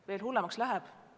Veel hullemaks läheb.